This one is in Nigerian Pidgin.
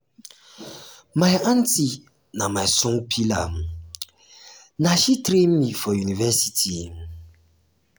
my aunty na my strong pillar um na um she train me me for university. um